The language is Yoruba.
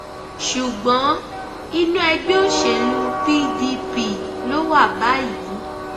ṣùgbọn inú ẹgbẹ òṣèlú pdp ló wà báyìí